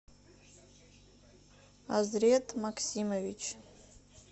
азрет максимович